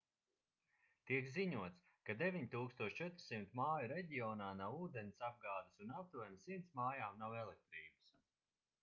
tiek ziņots ka 9400 māju reģionā nav ūdensapgādes un aptuveni 100 mājām nav elektrības